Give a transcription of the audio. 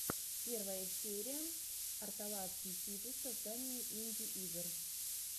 первая серия арталаский сиджи создание инди игр